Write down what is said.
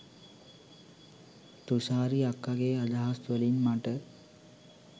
තුෂාරි අක්කගේ අදහස් වලින් මට